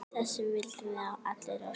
Þess vildum við allir óska.